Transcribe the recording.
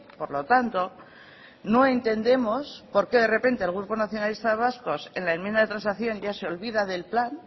por lo tanto no entendemos por qué de repente el grupo nacionalistas vascos en la enmienda de transacción ya se olvida del plan